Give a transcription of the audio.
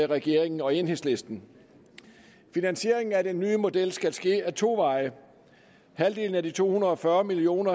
regeringen og enhedslisten finansieringen af den nye model skal ske ad to veje halvdelen af de to hundrede og fyrre million